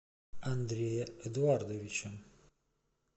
андрея эдуардовича